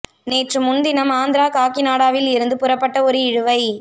நேற்று முன்தினம் ஆந்திரா காக்கி நாடாவில் இருந்து புறப்பட்ட ஒரு இழுவை